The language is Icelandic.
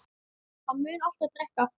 Hann mun alltaf drekka aftur.